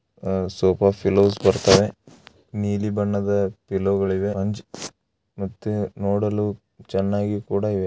ಆಹ್ಹ್ sofa pillows ಬರ್ತಾವೆ ನೀಲಿ ಬಣ್ಣದ ಪಿಲ್ಲೋಗಳಿವೆ ಮತ್ತೆ ನೋಡಲು ಚೆನ್ನಾಗಿ ಕೂಡ ಇವೆ.